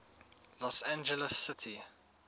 los angeles city